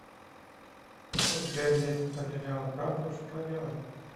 сбер если потеряла карту что делать